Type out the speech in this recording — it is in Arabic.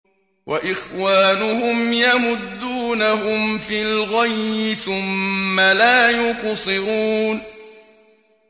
وَإِخْوَانُهُمْ يَمُدُّونَهُمْ فِي الْغَيِّ ثُمَّ لَا يُقْصِرُونَ